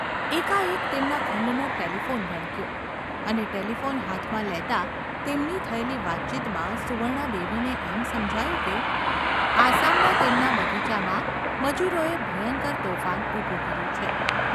એકાએક તેમના ખંડનો ટેલિફોન રણક્યો અને ટેલિફોન હાથમાં લેતાં તેમની થયેલી વાતચીતમાં સુવર્ણાદેવીને એમ સમજાયું કે આસામના તેમના બગીચામાં મજુરોએ ભયંકર તોફાન ઊભું કર્યું છે.